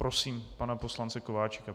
Prosím pana poslance Kováčika.